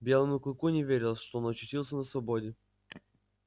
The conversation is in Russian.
белому клыку не верилось что он очутился на свободе